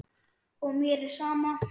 Og mér er sama.